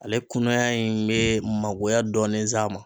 Ale kunaya in be magoya dɔɔni s'a ma.